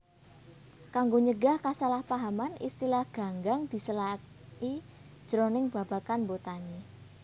Kanggo nyegah kasalahpahaman istilah ganggang disélaki jroning babagan botani